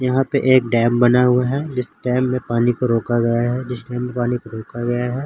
यहाँ पे एक डॅम बना हुआ है जिस डॅम में पानी को रोका गया है जिस डॅम में पानी को रोका गया है।